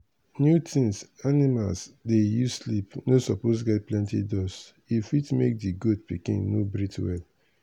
new things animal dey use sleep no suppose get plenty dust if fit make di goat pikin no breathe well.